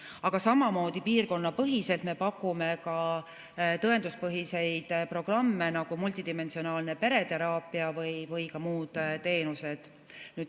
Aga samamoodi piirkonnapõhiselt me pakume ka tõenduspõhiseid programme, nagu multidimensionaalne pereteraapia ja ka muud teenused.